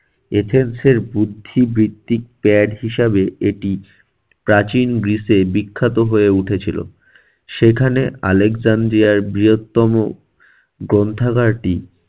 এথেন্সের বুদ্ধি বৃত্তিক ত্যাগ হিসাবে এটি প্রাচীন গ্রিসে বিখ্যাত হয়ে উঠেছিল। সেখানে আলেকজান্দ্রিয়ার বৃহত্তম গ্রন্থাগারটি